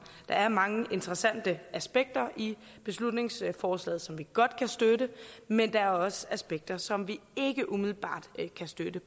er mange interessante aspekter i beslutningsforslaget som vi godt kan støtte men der er også aspekter som vi ikke umiddelbart kan støtte